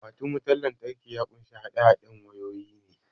Akwatin wutan lantraki ya kunshi haɗe haɗen wayoyi ne